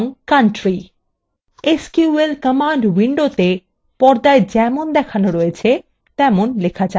sql command window পর্দায় যেমন দেখানো রয়েছে তেমন লেখা যাক: